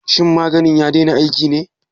Shin maganin ya daina aiki ne?